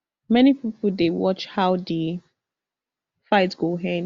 many pipo dey watch how di fight go end